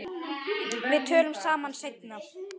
Við tölum saman seinna.